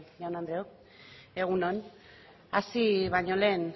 jaun andreok egun on hasi baino lehen